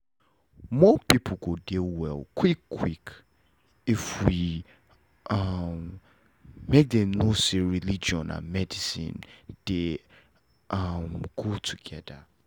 more people go dey well quick quick if we um make them know say religion and medicine dey um go together